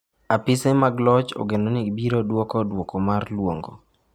"Apise mag loch ogeno ni biro duoko duoko mar lwongo."""